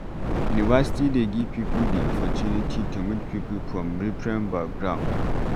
University dey give pipo di opportunity to meet pipo from different background